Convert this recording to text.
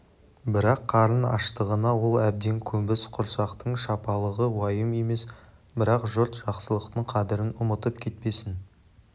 бірақ қарын аштығына ол әбден көнбіс құрсақтың шалалығы уайым емес бірақ жұрт жақсылықтың қадірін ұмытып кетпесін